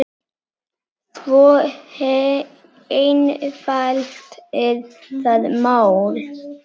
Svo einfalt er það mál.